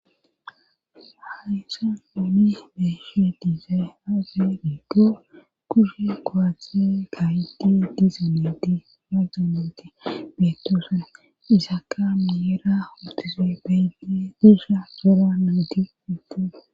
Haysan oni beeshe dizae age giggo kushe kowathie gayti dizoneti wadonenti betose isaka miyera hotuze beydi disa qora